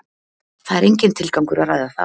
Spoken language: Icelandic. Það er enginn tilgangur að ræða það.